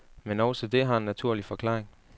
Men også det har en naturlig forklaring.